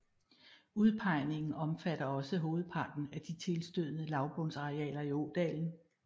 Udpegningen omfatter også hovedparten af de tilstødende lavbundsarealer i ådalen